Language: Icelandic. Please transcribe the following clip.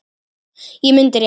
Ég mundi rétt.